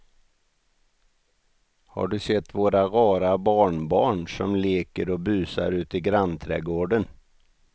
Har du sett våra rara barnbarn som leker och busar ute i grannträdgården!